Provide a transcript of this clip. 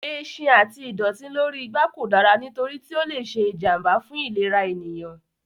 Ẹṣin àti ìdọ̀tí lórí igbá kò dára nítorí tí ó lè ṣe ìjànbá fún ìlera ènìyàn.